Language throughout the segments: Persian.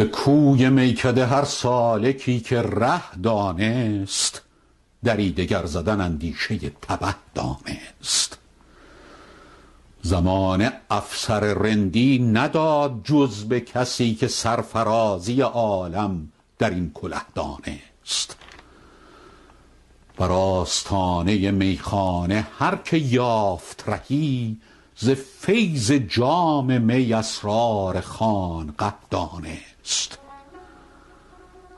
به کوی میکده هر سالکی که ره دانست دری دگر زدن اندیشه تبه دانست زمانه افسر رندی نداد جز به کسی که سرفرازی عالم در این کله دانست بر آستانه میخانه هر که یافت رهی ز فیض جام می اسرار خانقه دانست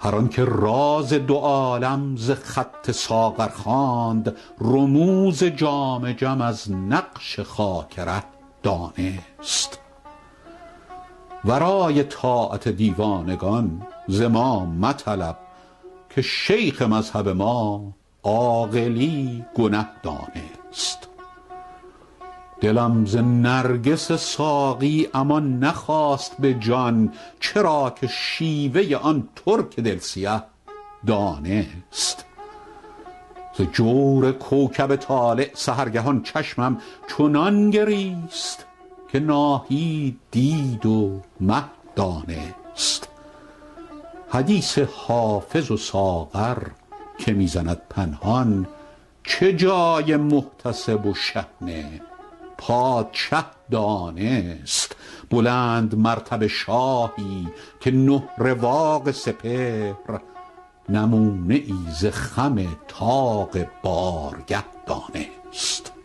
هر آن که راز دو عالم ز خط ساغر خواند رموز جام جم از نقش خاک ره دانست ورای طاعت دیوانگان ز ما مطلب که شیخ مذهب ما عاقلی گنه دانست دلم ز نرگس ساقی امان نخواست به جان چرا که شیوه آن ترک دل سیه دانست ز جور کوکب طالع سحرگهان چشمم چنان گریست که ناهید دید و مه دانست حدیث حافظ و ساغر که می زند پنهان چه جای محتسب و شحنه پادشه دانست بلندمرتبه شاهی که نه رواق سپهر نمونه ای ز خم طاق بارگه دانست